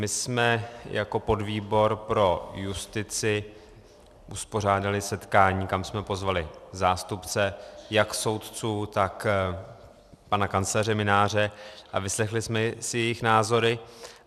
My jsme jako podvýbor pro justici uspořádali setkání, kam jsme pozvali zástupce jak soudců, tak pana kancléře Mynáře, a vyslechli jsme si jejich názory.